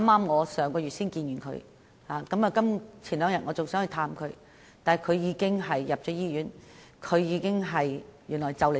我上月與她見面，數天前還想探望她，但她已經入院，更快將離世。